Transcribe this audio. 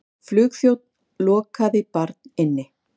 Flugþjónn lokaði barn inni